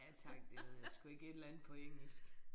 Ja tak det ved jeg sgu ikke et eller andet på engelsk